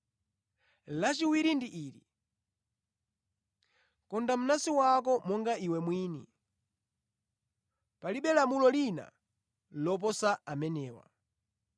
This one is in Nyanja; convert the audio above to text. Lachiwiri ndi ili: ‘Konda mnansi wako monga iwe mwini.’ Palibe lamulo lina loposa amenewa.”